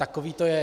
Takové to je.